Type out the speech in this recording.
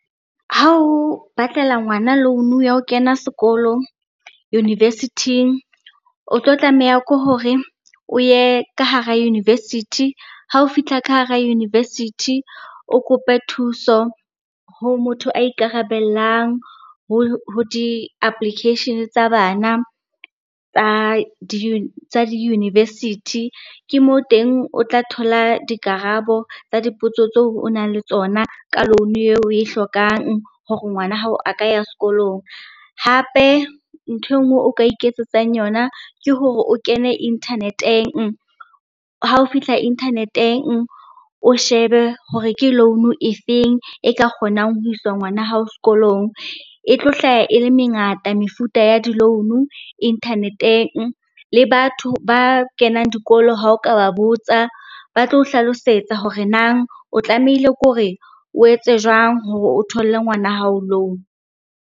Ha o batlela ngwana loan-u ya ho kena sekolo university-ing. O tlo tlameha ke hore o ye ka hara university, ha o fihla ka hara university, o kope thuso ho motho a ikarabellang ho di-application tsa bana tsa di-university. Ke moo teng o tla thola dikarabo tsa dipotso tseo o nang le tsona ka loan-u eo o e hlokang hore ngwana hao a ka ya sekolong. Hape nthwe e nngwe o ka iketsetsang yona ke hore o kene internet-eng, ha o fihla internet-eng o shebe hore ke loan-u e feng e ka kgonang ho iswa ngwana hao sekolong. E tlo hlaya ele mengata mefuta ya di-loan-o internet-eng, le batho ba kenang dikolo ha o ka ba botsa, ba tlo o hlalosetsa hore nang o tlamehile ke hore o etse jwang hore o tholle ngwana hao loan.